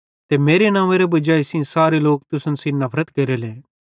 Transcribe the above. ते मेरे नव्वेंरे वजाई सेइं सारे लोक तुसन सेइं नफरत केरेले